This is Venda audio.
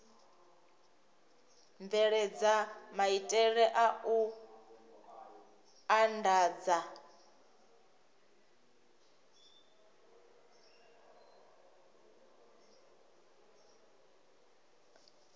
bveledza maitele a u andadza